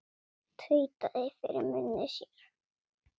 Tautaði fyrir munni sér.